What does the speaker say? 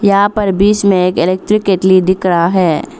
यहां पर बीच में एक इलेक्ट्रिक केतली दिख रहा है।